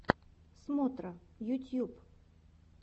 смотра ютьюб